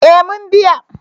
Eh mun biya